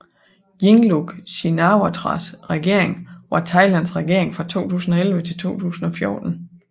Yingluck Shinawatras regering var Thailands regering fra 2011 til 2014